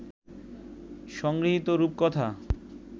সংগৃহীত রূপকথা